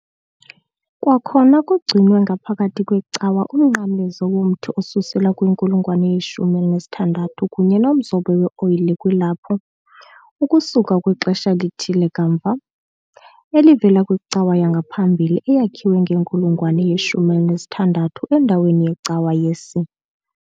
Kwakhona kugcinwe ngaphakathi kwecawa umnqamlezo womthi osusela kwinkulungwane ye-16 kunye nomzobo we-oyile kwilaphu, ukusuka kwixesha elithile kamva, elivela kwicawa yangaphambili eyakhiwe ngenkulungwane ye-16 endaweni yecawa ye-S.